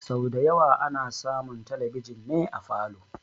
Sau da yawa ana samun talbijin ne a falow